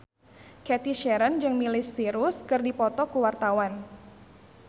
Cathy Sharon jeung Miley Cyrus keur dipoto ku wartawan